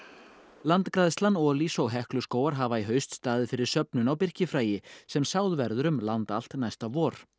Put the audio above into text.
landgræðslan Olís og Hekluskógar hafa í haust staðið fyrir söfnun á birkifræi sem sáð verður um land allt næsta vor